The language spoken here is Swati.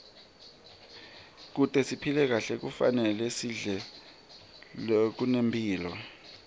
kute siphile kahle kufanele sidle lokunemphilo